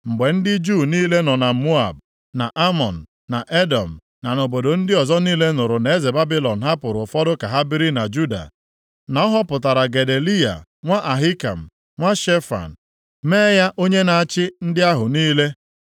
Mgbe ndị Juu niile nọ na Moab, na Amọn, na Edọm, na nʼobodo ndị ọzọ niile nụrụ na eze Babilọn hapụrụ ụfọdụ ka ha biri na Juda, na ọ họpụtara Gedaliya nwa Ahikam, nwa Shefan, mee ya onye na-achị ndị ahụ niile,